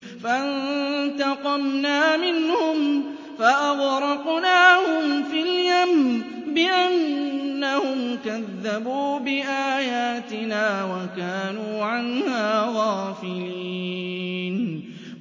فَانتَقَمْنَا مِنْهُمْ فَأَغْرَقْنَاهُمْ فِي الْيَمِّ بِأَنَّهُمْ كَذَّبُوا بِآيَاتِنَا وَكَانُوا عَنْهَا غَافِلِينَ